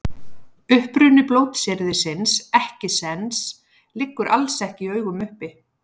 Uppruni blótsyrðisins ekkisens liggur alls ekki í augum uppi.